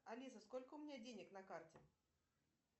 алиса сколько у меня денег на карте